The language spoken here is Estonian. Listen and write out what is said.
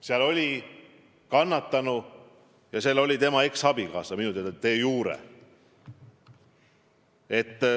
Seal oli kannatanu ja seal oli tema eksabikaasa, minu teada de iure.